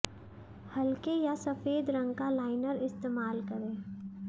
हल्के या सफेद रंग का लाइनर इस्तेमाल करें